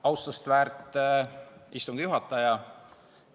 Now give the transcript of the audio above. Austust väärt istungi juhataja!